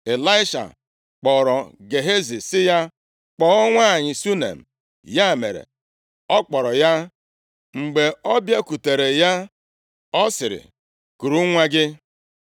Ịlaisha kpọrọ Gehazi sị ya, “Kpọọ nwanyị Shunem.” Ya mere, ọ kpọrọ ya. Mgbe ọ bịakwutere ya, ọ sịrị, “Kuru nwa gị.”